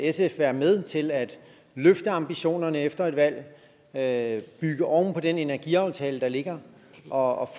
sf være med til at løfte ambitionerne efter et valg at bygge oven på den energiaftale der ligger og